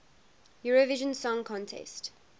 eurovision song contest